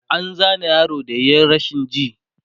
an Zane yaron da yayi rashin ji